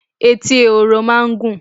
Etí ehoro máa ń gùn.